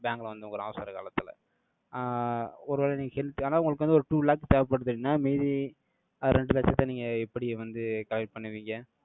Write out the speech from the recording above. bank ல வந்த ஒரு அவசர காலத்துல. ஆஹ் ஒருவேளை நீங்க help ஆனா, உங்களுக்கு வந்து ஒரு two lakh தேவைப்படுது அப்படின்னா, மீதி அஹ் ரெண்டு லட்சத்தை நீங்க எப்படி வந்து collect பண்ணுவீங்க